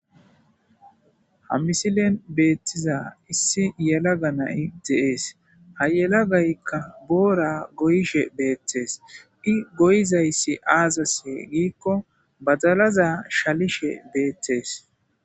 Ha misilen betiza issi yelaga na'iy de'es Ha yelagayka boora goyishe betes . I goyzaysi azasa giikon badalaza shalishe betes